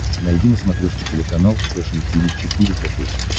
найди на смотрешке телеканал фэшн ти ви четыре ка